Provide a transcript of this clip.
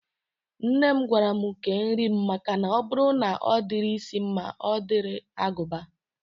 Nne m gwara mụ kee nri m makana ọ bụrụ na ọ dịrị isi mma, ọ dịrị agụba